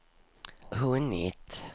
hunnit